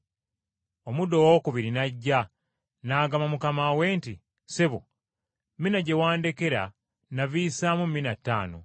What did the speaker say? “Omuddu owookubiri n’ajja, n’agamba mukama we nti, ‘Ssebo, mina gye wandekera navisaamu mina ttaano.’